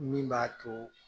Min b'a to